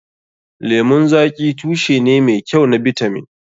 Lemun zaƙi tushe ne mai kyau na bitamin.